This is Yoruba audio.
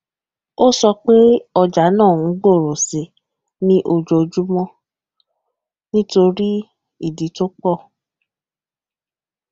àpamọ alágbèéká náà jẹ kí ẹni lo rọrùn láti tọjú àwọn ináwó àti fi àwọn ìwé ìtajà ṣàgbéyèwọ